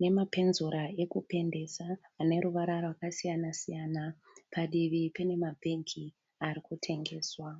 nemapenzura rekupendesa ane ruvara rwakasiyana siyana. Padivi pane mabhegi ari kutengeswa.